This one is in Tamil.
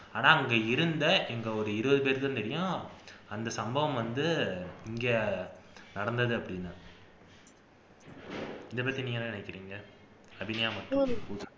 ஆனா அங்க இருந்த எங்க ஒரு இருபதுபேருக்குதான் தெரியும் அந்த சம்பவம் வந்து இங்க நடந்தது அப்படின்னு இதைப்பத்தி நீங்க என்ன நினைக்கிறீங்க அபிநயா